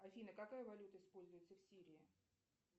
афина какая валюта используется в сирии